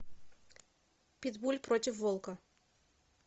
питбуль против волка